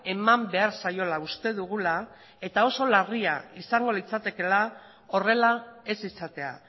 eman behar zaiola uste dugula eta oso larria izango litzatekeela horrela ez izatea